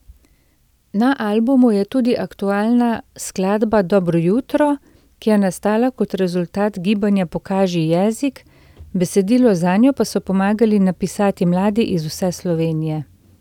Na albumu je tudi aktualna skladba Dobro jutro, ki je nastala kot rezultat gibanja Pokaži jezik, besedilo zanjo pa so pomagali napisati mladi iz vse Slovenije.